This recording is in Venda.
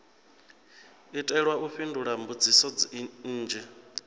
itelwa u fhindula mbudziso nnzhi